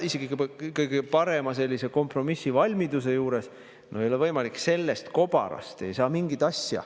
Isegi kõige kompromissivalmidusega ei ole see võimalik, sellest kobarast ei saa mingit asja.